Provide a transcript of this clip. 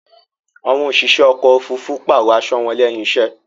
Àwọn òṣìṣẹ́ ọkò òfurufú pààrò aṣo wọn lẹ́hìn iṣẹ́.